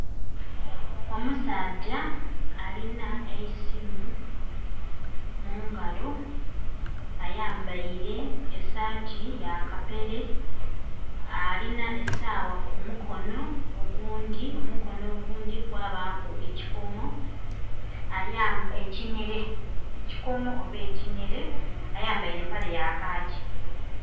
Omusaadha alina eisimu mungalo. Ayambaile esaati ya kapere. Alina esaawa kumukono, ogundhi...omukono ogundhi kwabaku ekikomo...ekikomo oba ekinhere. Ayambaile empale ya khaaki.